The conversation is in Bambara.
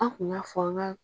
An kun ga fɔ, an ga